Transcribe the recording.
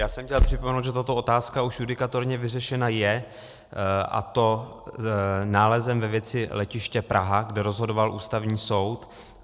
Já jsem chtěl připomenout, že tato otázka už judikaturně vyřešena je, a to nálezem ve věci Letiště Praha, kde rozhodoval Ústavní soud.